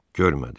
Görmədi.